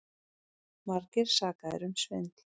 Margir sakaðir um svindl